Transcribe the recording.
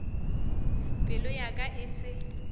pelo ya ka e se